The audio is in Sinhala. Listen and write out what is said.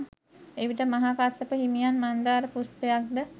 එවිට මහා කස්සප හිමියන් මන්දාර පුෂ්පයක්ද